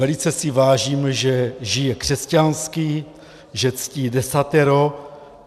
Velice si vážím, že žije křesťansky, že ctí Desatero.